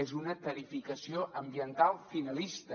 és una tarificació ambiental finalista